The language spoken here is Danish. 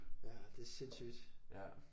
Ja det er sindssygt